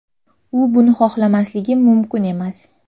U buni xohlamasligi mumkin emas.